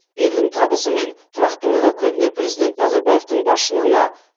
елдің табысы мен тұрақтылығы көбіне президент назарбаевтың басшылығына